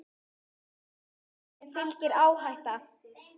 Allri tækni fylgir áhætta.